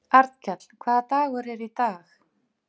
Annað stórt klaufdýr lifir í Pýreneafjöllum.